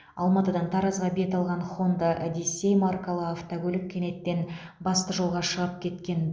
алматыдан таразға бет алған хонда одиссей маркалы автокөлік кенеттен басты жолға шығып кеткен